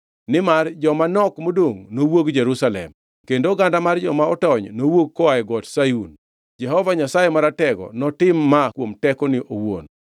Nimar joma nok modongʼ nowuog Jerusalem kendo oganda mar joma otony nowuogi koa e Got Sayun. Jehova Nyasaye Maratego notim ma kuom tekone owuon.